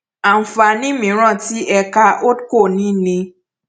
àǹfààní mìíràn tí ẹka holdco ní ni